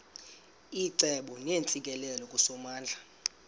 icebo neentsikelelo kusomandla